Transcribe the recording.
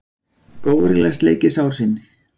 Górilla sleikir sár sín.